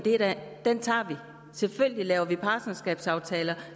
den tager og selvfølgelig laver vi partnerskabsaftaler